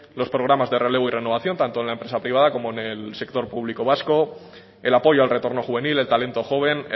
los programas de relevo y renovación tanto en la empresa privada como en el sector público vasco el apoyo al retorno juvenil el talento joven